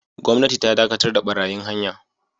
Gwamnati ta dakatar da barayin hanya